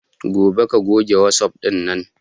Gobe ka goge wasup ɗin nan